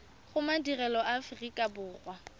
go madirelo a aforika borwa